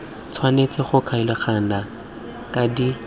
tshwanetse go kgaoganngwa kana di